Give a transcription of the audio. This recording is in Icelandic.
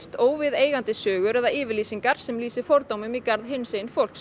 óviðeigandi sögur eða yfirlýsingar sem lýsi fordómum í garð hinsegin fólks